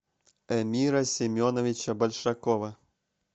эмира семеновича большакова